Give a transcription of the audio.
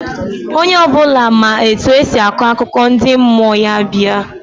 Onye obula ma etu esi akọ akụkọ ndị mmụọ, ya bịa.